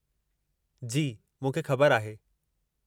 जी, मूंखे ख़बर आहे।